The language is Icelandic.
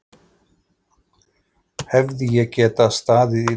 Hefði ég getað staðið í lappirnar?